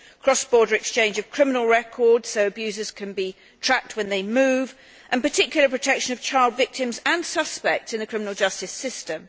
cross border exchange of criminal records so that abusers can be tracked when they move and particular protection of child victims and suspects in the criminal justice system.